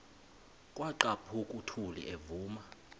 kwaqhaphuk uthuli evuma